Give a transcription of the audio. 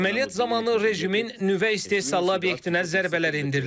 Əməliyyat zamanı rejimin nüvə istehsalı obyektinə zərbələr endirilib.